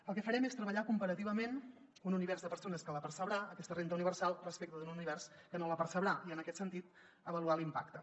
el que farem és treballar comparativament amb un univers de persones que la percebrà aquesta renda universal respecte d’un univers que no la percebrà i en aquest sentit avaluar ne l’impacte